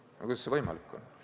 No kuidas see võimalik on?